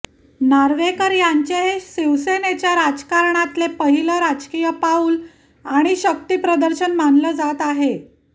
नार्वेकर यांचे हे शिवसेनेच्या राजकारणातले पहिलं राजकीय पाऊल आणि शक्तीप्रदर्शन मानलं जात आहे